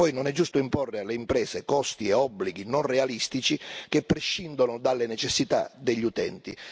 Inoltre, non è giusto imporre alle imprese costi e obblighi non realistici che prescindono dalle necessità degli utenti.